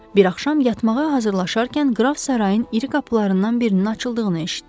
Bir axşam yatmağa hazırlaşarkən qraf sarayın iri qapılarından birinin açıldığını eşitdi.